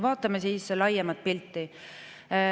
Vaatame siis laiemat pilti.